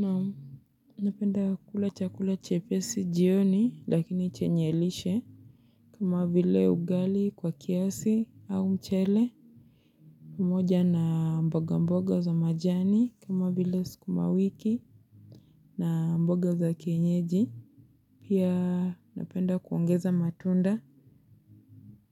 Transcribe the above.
Namu. Napenda kula chakula chepesi jioni lakini chenye lishe. Kama vile ugali kwa kiasi au mchele pamoja na mboga mboga za majani kama bile sikuma wiki na mboga za kienyeji. Pia napenda kuongeza matunda